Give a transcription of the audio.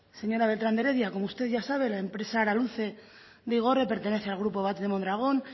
señora beltrán de heredia como usted ya sabe la empresa araluce de igorre pertenece al grupo batz de mondragón